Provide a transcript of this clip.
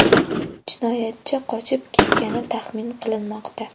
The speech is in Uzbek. Jinoyatchi qochib ketgani taxmin qilinmoqda.